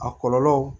A kɔlɔlɔ